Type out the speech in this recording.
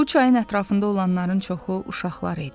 Bu çayın ətrafında olanların çoxu uşaqları idi.